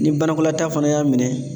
Ni banakɔlataa fana y'a minɛ